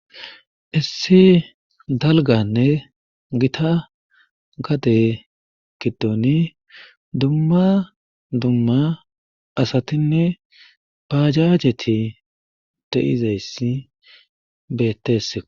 Issi dalganne gita gade giddoni dumma dumma asatinne pajajeti de7izayssi beettese